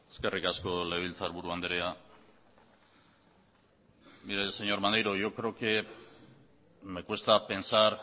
eskerrik asko legebiltzarburu andrea mire señor maneiro yo creo que me cuesta pensar